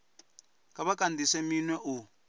kha vha kandise minwe u